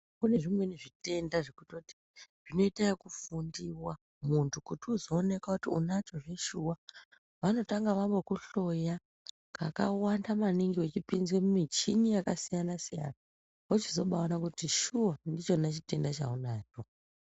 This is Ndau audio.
Kune zvimweni zvitenda zvekutoti zvinoita ekufundiwa kuti muntu uzoonekwa kuti unacho zveshuwa. Vanotanga vambokuhloya kakawanda maningi vachipinza mumuchini yakasiyana siyana. Vochizobaona kuti shuwa ndichona chitenda chaunacho.